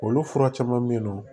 Olu fura caman bɛ yen nɔ